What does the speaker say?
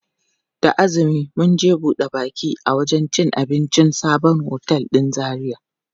Da azumi za mu je buɗe baki a wajen cin abincin sabon otel ɗin Zaria.